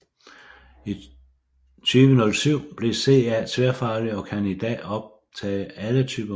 I 2007 blev CA tværfaglig og kan i dag optage alle typer medlemmer